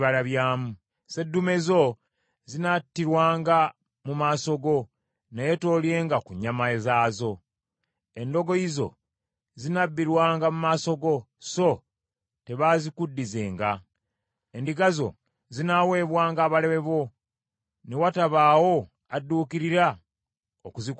Sseddume zo zinattirwanga mu maaso go, naye toolyenga ku nnyama zaazo. Endogoyi zo zinabbirwanga mu maaso go, so tebaazikuddizenga. Endiga zo zinaaweebwanga abalabe bo, ne watabaawo adduukirira okuzikuddiza.